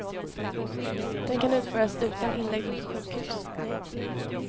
Den kan utföras utan inläggning på sjukhus.